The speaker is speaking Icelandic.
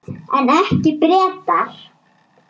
En ekki Bretar.